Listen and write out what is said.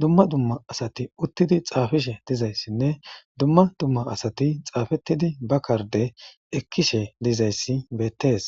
dumma dumma asati uttidi xaafishe dizayssinne dumma dumma asati xaafettidi ba karde ekkishe dizayssi beettees.